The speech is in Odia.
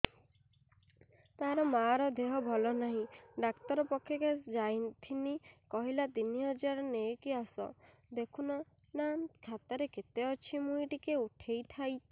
ତାର ମାର ଦେହେ ଭଲ ନାଇଁ ଡାକ୍ତର ପଖକେ ଯାଈଥିନି କହିଲା ତିନ ହଜାର ନେଇକି ଆସ ଦେଖୁନ ନା ଖାତାରେ କେତେ ଅଛି ମୁଇଁ ଟିକେ ଉଠେଇ ଥାଇତି